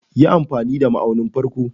Yi amfani da ma'aunin farko.